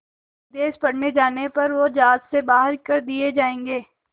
विदेश पढ़ने जाने पर वो ज़ात से बाहर कर दिए जाएंगे